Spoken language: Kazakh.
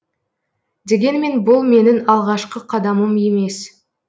дегенмен бұл менің алғашқы қадамым емес